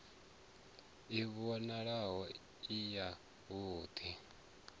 i vhonale i yavhud i